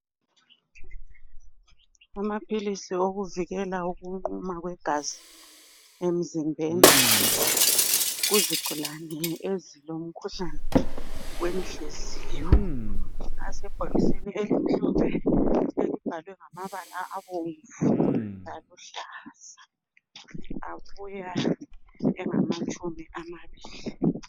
Amaphilisi wokuvikela ukunquma kwegazi emzimbeni kuzigulani ezilomkhuhlane wenhliziyo asebhokisini elimhlophe elibhalwe ngamabala abomvu laluhlaza. Abuya engamatshumi amabili.